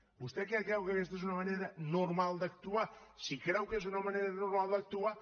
vostè creu que aquesta és una manera normal d’actuar si creu que és una manera normal d’actuar